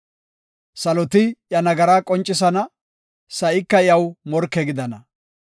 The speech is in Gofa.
Saloti iya nagaraa qoncisana; sa7ika iyaw morke gidana.